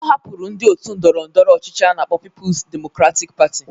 Ọ hapụrụ ndị otu ndọrọ ndọrọ ọchịchị a na-akpọ Pipus Demokratik Patị